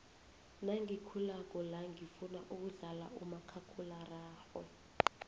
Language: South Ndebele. nagikhulako la ngifuna ukudlala umakhakhula rarhwe